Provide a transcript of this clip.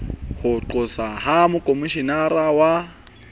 ho qoswa ha mokhomishenara wa